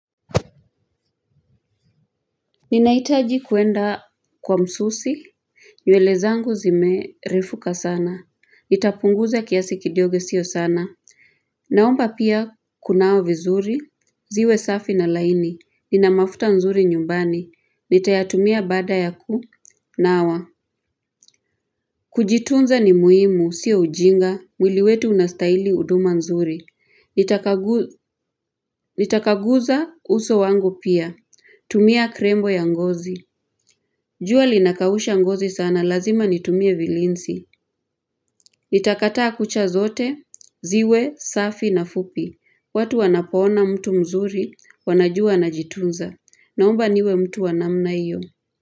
Ninahitaji kwenda kwa msusi. Nywele zangu zimerefuka sana. Itapunguza kiasi kidogo sio sana. Naomba pia kunawa vizuri. Ziwe safi na raini. Nina mafuta nzuri nyumbani. Nitayatumia baada ya ku. Nawa. Kujitunza ni muhimu. Si ujinga. Mwili wetu unastahili huduma nzuri. Nitakaguza uso wangu pia. Tumia krembo ya ngozi. Jua linakausha ngozi sana, lazima nitumie vilinsi. Nitakata kucha zote, ziwe, safi na fupi. Watu wanapoona mtu mzuri, wanajua najitunza. Naomba niwe mtu wanamna hiyo.